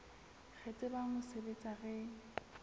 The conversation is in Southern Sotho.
re tsebang ho sebetsa re